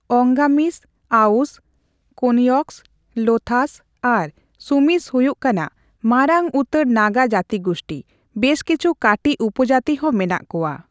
ᱚᱝᱜᱟᱢᱤᱥ, ᱟᱣᱚᱥ, ᱠᱳᱱᱭᱚᱠᱚᱥ, ᱞᱳᱛᱷᱟᱥ ᱟᱨ ᱥᱩᱢᱤᱥ ᱦᱩᱭᱩᱜ ᱠᱟᱱᱟ ᱢᱟᱨᱟᱝ ᱩᱛᱟᱹᱨ ᱱᱟᱜᱟ ᱡᱟᱹᱛᱤᱜᱩᱥᱴᱤ ;ᱵᱮᱥ ᱠᱤᱪᱷᱩ ᱠᱟᱹᱴᱤᱡᱽ ᱩᱯᱚᱡᱟᱹᱛᱤ ᱦᱚᱸ ᱢᱮᱱᱟᱜ ᱠᱚᱣᱟ ᱾